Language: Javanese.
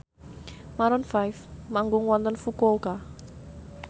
Maroon 5 manggung wonten Fukuoka